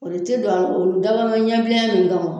Olu te don ala olu dabɔla ɲɛbilenya min kamɔ